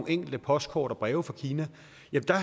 enkelte postkort og breve fra kina